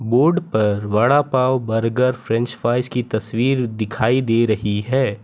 Board पर vada pav burger french fries कि तस्वीर दिखाई दे रही है।